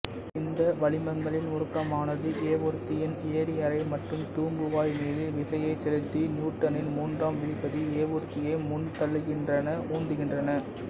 இந்த வளிமங்களின் முடுக்கமானது ஏவூர்தியின் எரிஅறை மற்றும் தூம்புவாய் மீது விசையை செலுத்தி நியூட்டனின் மூன்றாம் விதிப்படி ஏவூர்தியை முன்தள்ளுகின்றனஉந்துகின்றன